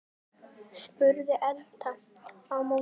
spyr Edda á móti.